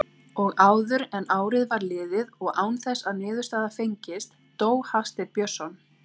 Og áður en árið var liðið og án þess að niðurstaða fengist dó Hafsteinn Björnsson.